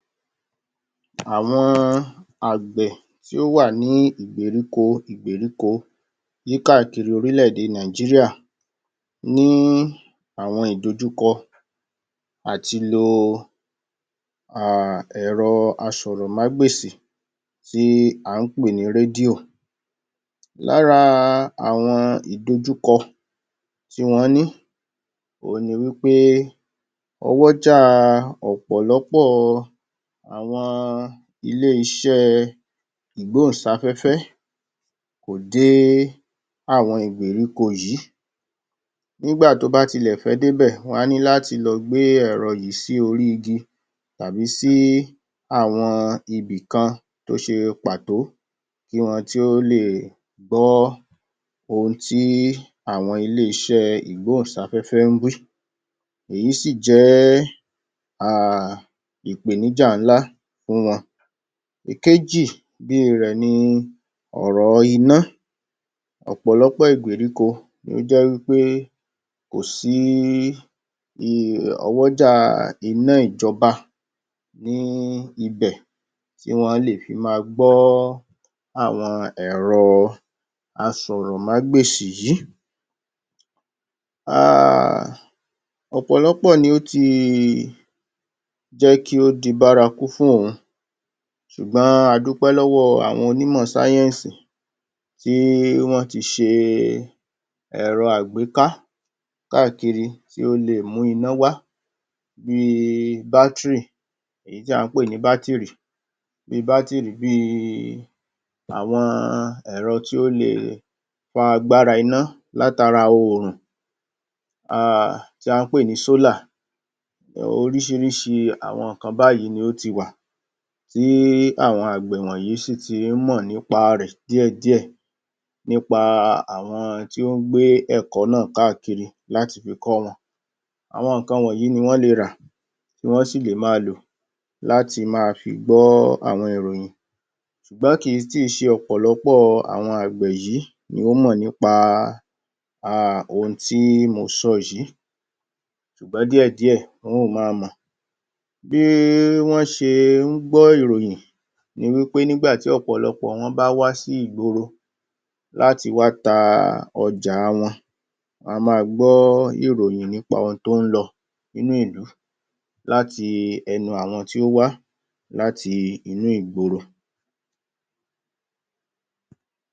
Àwọn àgbẹ̀ tí ó wà ní ìgbèríko ìgbèríko yí káàkiri orílẹ̀-èdè Nàìjíríà, ní àwọn ìdòjúkọ àtilo um ẹ̀rọ asọ̀rọ̀-má-gbèsì tí à ń pè ní rédíò. Lára àwọn ìdojúkọ tí wọ́n ní òhun ni wí pé owójá ọ̀pọ̀lọpọ̀ àwọn ilé-iṣẹ́ ìgbóhùn-sáfẹ́fẹ́ kò dé àwọn ìgbèríko yìí. Nígbà tó bá tilẹ̀ fẹ́ dé bẹ̀, wọ́n á ní láti lọ gbé ẹ̀rọ yìí sí orí igi tàbí sí àwọn ibìkan tó ṣe pàtó kí wọn to le gbọ́ ohun tí àwọn ilé-iṣẹ́ ìgbóhùn-sáfẹ́fẹ́ ń wí. Èyí sì jẹ́ um ìpèníjà ńlá fún wọn. Ìkejì bí i rẹ̀ ni ọ̀rọ̀ iná, ọ̀pọ̀lọpọ̀ ìgbèríko ló jẹ́ wí pé kò sí í um ọwọ́jà iná ìjọba ní í ibẹ̀ tí wọ́n á lè fi ma gbọ́ àwọn ẹ̀rọ asọ̀rọ̀mágbèsì yìí. um Ọ̀pọ̀lọpọ̀ ni ó ti jẹ́ kí ó di bárakú fún òun ṣùgbọ́n adúpẹ́ lọ́wọ́ àwọn onímọ̀ sáyẹ́nsì tí wọ́n ti ṣe ẹ̀rọ àgbéká káàkiri, tí ó lè mú iná wá bí i battery èyí tí à ń pè ní bátìrì Bí i bátìrì bí i àwọn ẹ̀rọ tí ó le fa agbára iná láti ara òrùn um tí à ń pè ní solar oríṣiríṣi àwọn nǹkan báyìí ni ó ti wà tí àwọn àgbẹ̀ wọnyìí sì tí ń mọ̀ nípa rẹ̀ díẹ̀ díẹ̀ nípa àwọn tí ó ń gbé ẹ̀kọ́ náà káàkiri láti fi kọ́ wọn àwọn nǹkan wọnyìí ni wọ́n le rà ni wọ́n sì le ma lò láti ma fi gbọ́ àwọn ìròyìn ṣùgbọ́n kìí tì ṣe ọ̀pọ̀lọpọ̀ àwọn àgbẹ̀ yìí ni ó mọ̀ nípa um ohun tí mo sọ yìí ṣùgbọ́n díẹ̀ díẹ̀ wọ́n ò má a mọ̀. Bí wọ́n ṣe ń gbọ́ ìròyìn, ni wí pé nígbàtí ọ̀pọ̀lọpọ̀ wọn bá wá sí ìgboro láti wá ta ọjà wọn, a má a gbọ́ ìròyìn nípa ohun tó ń lọ nínú ìlú láti ẹnu àwọn tí ó wá láti inú ìgboro.